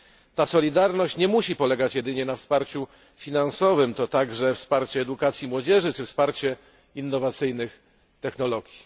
Ta solidarność nie musi polegać jedynie na wsparciu finansowym, to także wparcie edukacji młodzieży czy wsparcie innowacyjnych technologii.